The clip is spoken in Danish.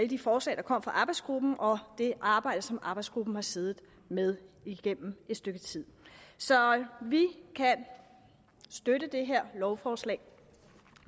de forslag der kom fra arbejdsgruppen og det arbejde som arbejdsgruppen har siddet med igennem et stykke tid så vi kan støtte det her lovforslag